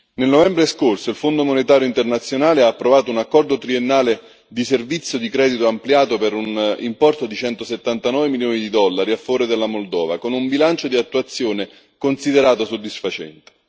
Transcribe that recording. Nel novembre scorso il Fondo monetario internazionale ha approvato un accordo triennale di servizio di credito ampliato per un importo di 179 milioni di dollari a favore della Moldova, con un bilancio di attuazione considerato soddisfacente.